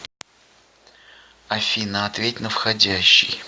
афина ответь на входящий